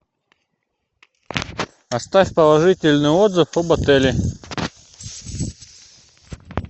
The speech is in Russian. оставь положительный отзыв об отеле